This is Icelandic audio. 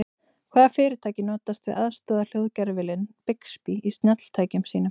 Hvaða fyrirtæki notast við aðstoðarhljóðgervilinn Bixby í snjalltækjum sínum?